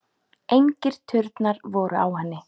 Engir turnar voru á henni.